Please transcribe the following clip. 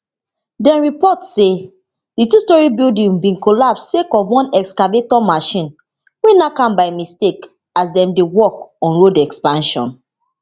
dem report say di twostorey building bin collapse sake of one excavator machine wey nack am by mistake as dem dey work on road expansion